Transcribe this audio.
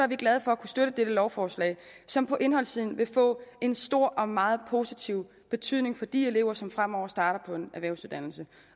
vi glade for at kunne støtte dette lovforslag som på indholdssiden vil få en stor og meget positiv betydning for de elever som fremover starter på en erhvervsuddannelse